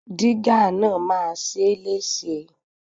Dígà náà máa ṣe é léṣe.